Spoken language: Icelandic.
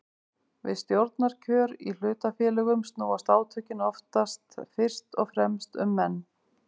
Við stjórnarkjör í hlutafélögum snúast átökin oftast fyrst og fremst um menn.